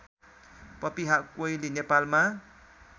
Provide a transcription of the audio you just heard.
पपिहा कोइली नेपालमा